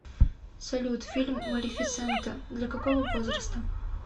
салют фильм малефисента для какого возраста